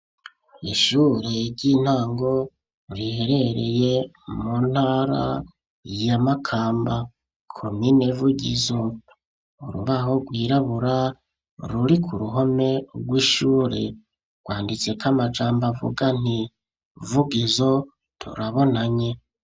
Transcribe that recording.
Ishure ry'intango riherereye mu ntara ya makamba komine vugizo ,urubaho rwirabura ruri ku ruhome rw'ishure rwanditseko amajambo avuga nti, vugizo turabonanye.